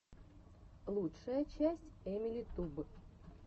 лучшая часть эмили туб